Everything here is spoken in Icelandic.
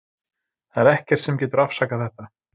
Það er ekkert sem getur afsakað þetta.